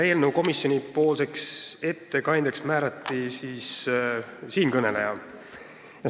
Komisjoni ettekandjaks määrati siinkõneleja.